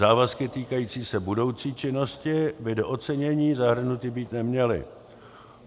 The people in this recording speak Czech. Závazky týkající se budoucí činnosti by do ocenění zahrnuty být neměly.